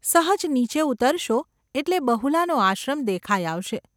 સહજ નીચે ઉતરશો એટલે બહુલાનો આશ્રમ દેખાઈ આવશે.